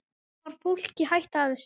Stafar fólki hætta af þessu?